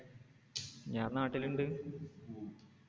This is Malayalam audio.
ഞാൻ നാട്ടില്ണ്ട്